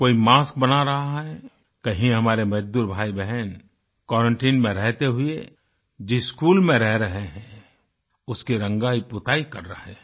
कोई मास्क बना रहा है कहीं हमारे मजदूर भाईबहन क्वारंटाइन में रहते हुए जिस स्कूल में रह रहे हैं उसकी रंगाईपुताई कर रहे हैं